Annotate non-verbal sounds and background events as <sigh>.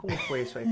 Como foi isso aí? <laughs>